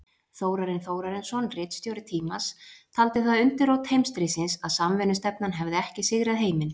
Þórarinn Þórarinsson, ritstjóri Tímans, taldi það undirrót heimsstríðsins, að samvinnustefnan hefði ekki sigrað heiminn.